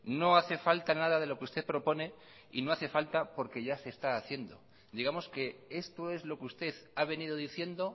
no hace falta nada de lo que usted propone y no hace falta porque ya se está haciendo digamos que esto es lo que usted ha venido diciendo